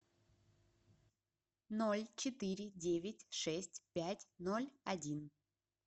ноль четыре девять шесть пять ноль один